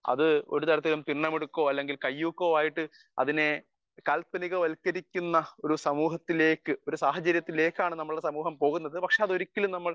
speaker 1 അത് ഒരിക്കലും തിന്ന മിടുക്കോ അല്ലെങ്കിൽ കയ്യൂക്കോ ആയിട്ടു അതിനെ കാല്പനിക വൽക്കരിക്കുന്ന ഒരു സമൂഹത്തിലെക്ക് അല്ലെങ്കിൽ സാഹചര്യത്തിലേക്ക് ആണ് നമ്മുടെ സമൂഹം പോകുന്നത് പക്ഷെ അത് ഒരിക്കലും നമ്മക്ക്